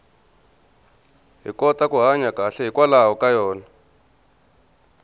hi kota ku hanya kahle hikwalaho ka yona